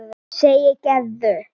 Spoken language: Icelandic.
segir Gerður.